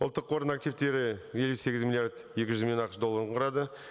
ұлттық қордың активтері елу сегіз миллиард екі жүз миллион ақш долларын құрады